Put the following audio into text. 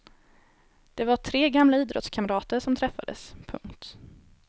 Det var tre gamla idrottskamrater som träffades. punkt